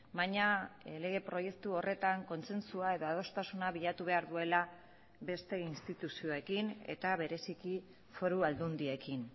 baina lege proiektu horretan kontzentzua edo adostasuna bilatu behar duela beste instituzioekin eta bereziki foru aldundiekin